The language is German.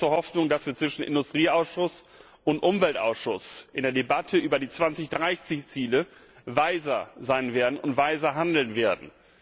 Ich habe große Hoffnung, dass wir zwischen Industrieausschuss und Umweltausschuss in der Debatte über die 2030 Ziele weiser sein und weiser handeln werden.